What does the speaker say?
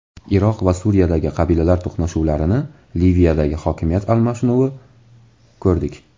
Iroq va Suriyadagi qabilalar to‘qnashuvlarini, Liviyadagi hokimiyat almashinuvini ko‘rdik.